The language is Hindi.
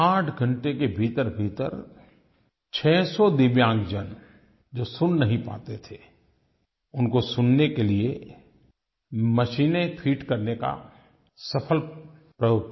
आठ घंटे के भीतरभीतर छहसौ दिव्यांगजन जो सुन नहीं पाते थे उनको सुनने के लिए मशीनें फीड करने का सफल प्रयोग किया